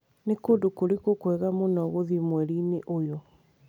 Nĩ kũndũ kũrĩkũ kwega mũno gũthiĩ mweri-inĩ ũyũ?